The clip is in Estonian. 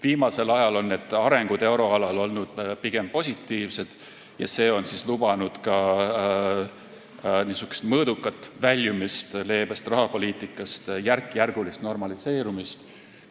Viimasel ajal on areng euroalal olnud pigem positiivne ja see on lubanud mõõdukat väljumist leebest rahapoliitikast, järkjärgulist normaliseerumist.